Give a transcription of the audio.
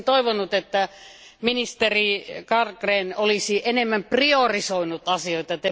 Olisin toivonut, että ministeri Carlgren olisi enemmän priorisoinut asioita.